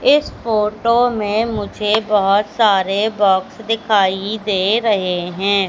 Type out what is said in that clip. इस फोटो में मुझे बहोत सारे बॉक्स दिखाई दे रहे हैं।